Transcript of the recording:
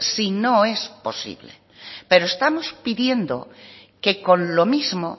sino es posible pero estamos pidiendo que con lo mismo